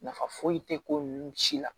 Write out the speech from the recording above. Nafa foyi tɛ ko ninnu si la